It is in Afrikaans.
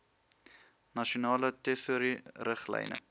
nasionale tesourie riglyne